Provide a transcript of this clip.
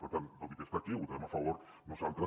per tant tot i que està aquí hi votarem a favor nosaltres